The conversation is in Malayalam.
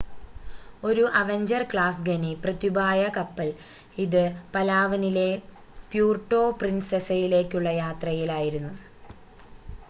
ഒരു അവെഞ്ചർ ക്ലാസ് ഖനി പ്രത്യുപായ കപ്പൽ ഇത് പലാവനിലെ പ്യൂർട്ടോ പ്രിൻസെസയിലേക്കുള്ള യാത്രയിൽ ആയിരുന്നു